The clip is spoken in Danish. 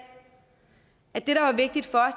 at det der var vigtigt for